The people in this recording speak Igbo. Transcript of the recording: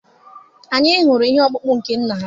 Anyị hụrụ ihe okpụkpụ nke nna ha.